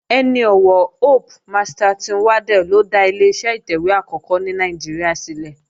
Ẹni ọ̀wọ̀ Hope Masterton Waddell ló dá Ileṣẹ́ ìtẹ̀wé àkọ́kọ́ ní Nàìjíríà sílẹ̀